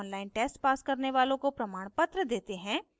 online test pass करने वालों को प्रमाणपत्र देते हैं